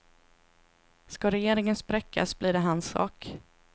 Ska regeringen spräckas blir det hans sak.